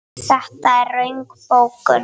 Þetta er röng bókun.